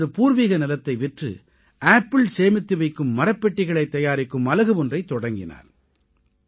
அவர் தனது பூர்வீக நிலத்தை விற்று ஆப்பிளை சேமித்து வைக்கும் மரப்பெட்டிகளைத் தயாரிக்கும் அலகு ஒன்றைத் தொடக்கினார்